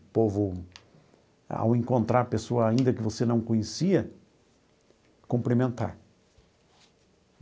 O povo, ao encontrar pessoa ainda que você não conhecia, cumprimentar.